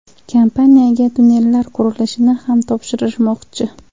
Kompaniyaga tunnellar qurilishini ham topshirishmoqchi.